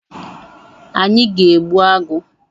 Anyị ga egbu agụ